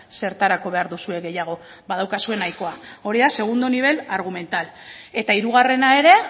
zertarako behar duzue gehiago badaukazue nahikoa hori da segundo nivel argumental eta hirugarrena ere